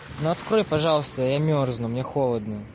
ну открой пожалуйста я мёрзну мне холодно